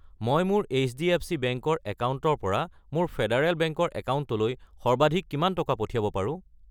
মই মোৰ HDFC bank ৰ একাউণ্টৰ পৰা মোৰ ফেডাৰেল বেংক ৰ একাউণ্টলৈ সৰ্বাধিক কিমান টকা পঠিয়াব পাৰো?